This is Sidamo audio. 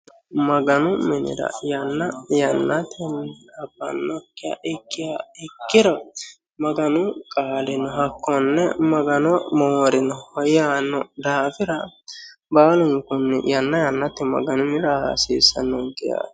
Maganu minira yanna yanatenni abbannokiha ikkiha ikkiro maganu qaaleno hakkone magano moorinoho yaanno daafora baalunikkuni yanna yannatey maganu minira aa hasiisannonike yaate